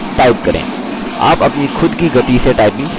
आप अपनी खुद की गति से typing सीख सकते हैं